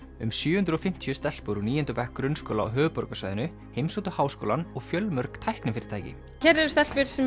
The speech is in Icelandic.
um sjö hundruð og fimmtíu stelpur úr níunda bekk grunnskóla á höfuðborgarsvæðinu heimsóttu háskólann og fjölmörg tæknifyrirtæki hér eru stelpur sem